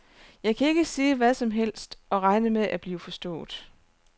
Jeg kan ikke sige hvad som helst og regne med at blive forstået.